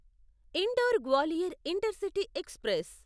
indoor Gwalior intercity express